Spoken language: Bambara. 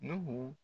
N'u